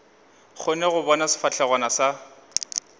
kgone go bona sefahlegwana sa